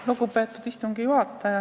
Lugupeetud istungi juhataja!